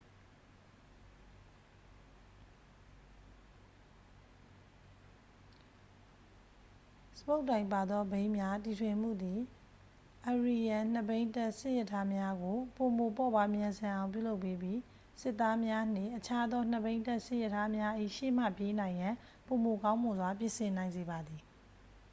စပုတ်တိုင်ပါသောဘီးများတီထွင်မှုသည် assyrian နှစ်ဘီးတပ်စစ်ရထားများကို ပိုမိုပေါ့ပါးမြန်ဆန်အောင် ပြုလုပ်ပေးပြီး စစ်သားများနှင့် အခြားသောနှစ်ဘီးတပ်စစ်ရထားများ၏ရှေ့မှပြေးနိုင်ရန် ပိုမိုကောင်းမွန်စွာ ပြင်ဆင်နိုင်စေပါသည်